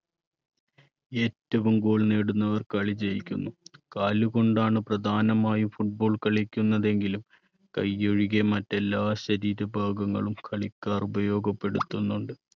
ഏറ്റവും goal നേടുന്നവർ കളി ജയിക്കുന്നു. കാലുകൊണ്ടാണ് പ്രധാനമായും football കളിക്കുന്നതെങ്കിലും കൈ ഒഴികെ മറ്റെല്ലാ ശരീരഭാഗങ്ങളും കളിക്കാർ ഉപയോഗപ്പെടുത്തുന്നുണ്ട്.